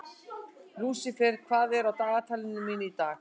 Lúsifer, hvað er á dagatalinu mínu í dag?